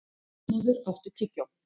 Þormóður, áttu tyggjó?